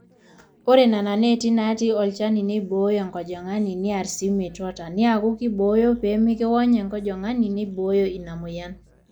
ore nena neeti naatii olchani neibooyo enkajang'ani neer sii metuata, neeku keibooyo pee mekiony enkajang'ani neibooyo ina mweyian